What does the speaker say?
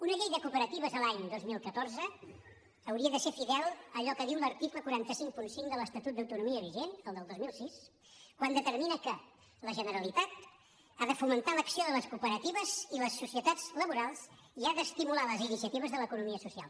una llei de cooperatives a l’any dos mil catorze hauria de ser fidel a allò que diu l’article quatre cents i cinquanta cinc de l’estatut d’autonomia vigent el del dos mil sis quan determina que la generalitat ha de fomentar l’acció de les cooperatives i les societats laborals i ha d’estimular les iniciatives de l’economia social